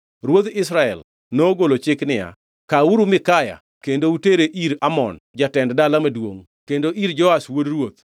Ruodh Israel nogolo chik niya, “Kawuru Mikaya kendo utere ir Amon jatend dala maduongʼ kendo ir Joash wuod ruoth,